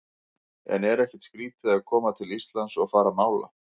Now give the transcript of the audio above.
En er ekkert skrítið að koma til Íslands og fara að mála?